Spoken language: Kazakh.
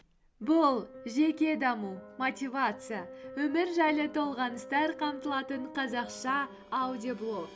бұл жеке даму мотивация өмір жайлы толғаныстар қамтылатын қазақша аудиоблог